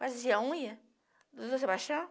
Fazer a unha do Doutor Sebastião.